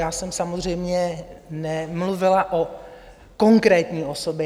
Já jsem samozřejmě nemluvila o konkrétní osobě.